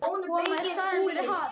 Koma í staðinn fyrir hann.